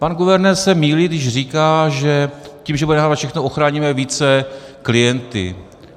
Pan guvernér se mýlí, když říká, že tím, že budeme nahrávat všechno, ochráníme více klienty.